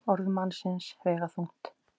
Orð mannsins vega þungt.